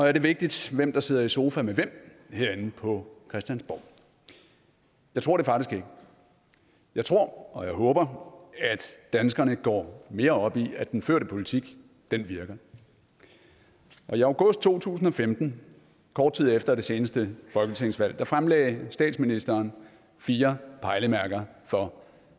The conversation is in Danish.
er det vigtigt hvem der sidder i sofa med hvem herinde på christiansborg jeg tror det faktisk ikke jeg tror og jeg håber at danskerne går mere op i at den førte politik virker i august to tusind og femten kort tid efter det seneste folketingsvalg fremlagde statsministeren fire pejlemærker for